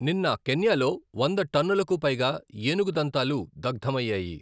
నిన్న, కెన్యాలో వంద టన్నులకు పైగా ఏనుగు దంతాలు దగ్ధమయ్యాయి.